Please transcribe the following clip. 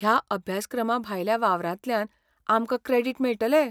ह्या अभ्यासक्रमाभायल्या वावरांतल्यान आमकां क्रॅडिट मेळटले?